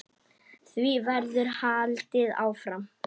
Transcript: Því verður haldið áfram.